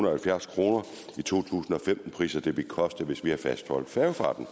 og halvfjerds kroner i to tusind og femten priser det ville koste hvis vi havde fastholdt færgefarten